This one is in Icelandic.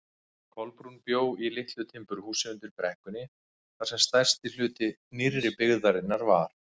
Kolbrún bjó í litlu timburhúsi undir brekkunni þar sem stærsti hluti nýrri byggðarinnar var.